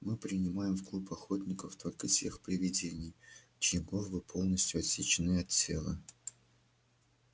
мы принимаем в клуб охотников только тех привидений чьи головы полностью отсечены от тела